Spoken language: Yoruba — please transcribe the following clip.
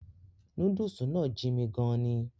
Núdúùsù náà jin'mi gan-an ni